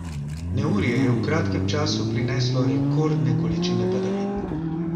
Neurje je v kratkem času prineslo rekordne količine padavin.